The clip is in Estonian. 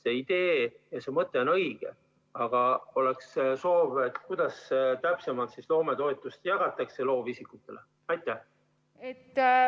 See idee ja mõte on õige, aga oleks soov, kuidas täpsemalt loometoetust loovisikutele jagatakse.